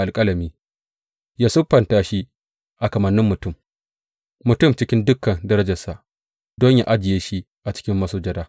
Yă siffanta shi a kamannin mutum, mutum cikin dukan darajarsa, don yă ajiye shi a cikin masujada.